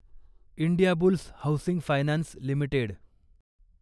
Indiabulls Housing Finance limited